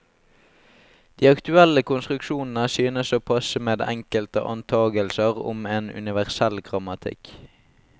De aktuelle konstruksjonene synes å passe med enkelte antagelser om en universell grammatikk.